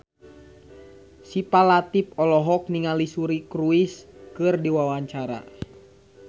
Syifa Latief olohok ningali Suri Cruise keur diwawancara